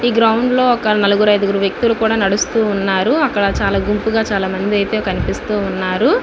ఇ ground లొ ఒక నలుగురు ఐదుగురు వ్యక్తులు కూడ నడుస్తూ ఉన్నారు అక్కడ చాల గుంపుగా చాలమంది అయితే కనిపిస్తూవున్నారు.